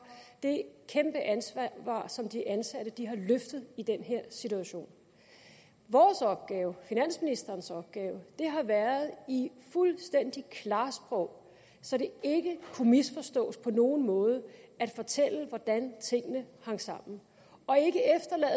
det kæmpe ansvar som de ansatte har løftet i den her situation vores opgave finansministerens opgave har været i et fuldstændig klart sprog så det ikke kunne misforstås på nogen måde at fortælle hvordan tingene hang sammen